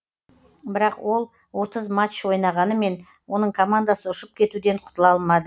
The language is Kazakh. бірақ ол отыз матч ойнағанымен оның командасы ұшып кетуден құтыла алмады